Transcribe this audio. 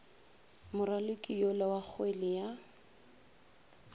moraloki yola wa kgwele ya